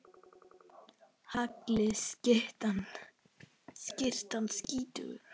Hagli skyttan skýtur.